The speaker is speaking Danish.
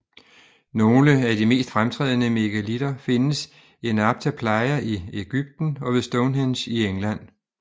Nogle af de mest fremtrædende megalitter findes i Nabta Playa i Egypten og ved Stonehenge i England